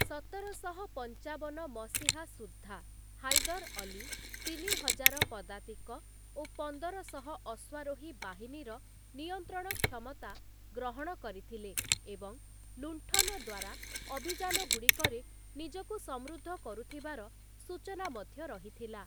ସତରଶହ ପଞ୍ଚାବନ ମସିହା ସୁଦ୍ଧା, ହାଇଦର୍ ଅଲୀ ତିନି ହଜାର ପଦାତିକ ଓ ପନ୍ଦରଶହ ଅଶ୍ଵାରୋହୀ ବାହିନୀର ନିୟନ୍ତ୍ରଣ କ୍ଷମତା ଗ୍ରହଣ କରିଥିଲେ ଏବଂ ଲୁଣ୍ଠନ ଦ୍ଵାରା ଅଭିଯାନଗୁଡ଼ିକରେ ନିଜକୁ ସମୃଦ୍ଧ କରୁଥିବାର ସୂଚନା ମଧ୍ୟ ରହିଥିଲା ।